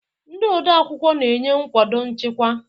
Ndị odeakwụkwọ na-enye nkwado nchịkwa.